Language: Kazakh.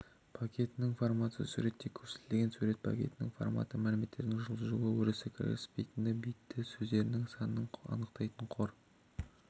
пакетінің форматы суретте көрсетілген сурет пакетінің форматы мәліметтердің жылжуы өрісі кіріспесіндегі битті сөздердің санын анықтайды қор